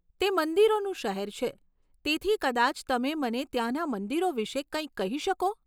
તે મંદિરોનું શહેર છે, તેથી કદાચ તમે મને ત્યાંના મંદિરો વિશે કંઈક કહી શકો?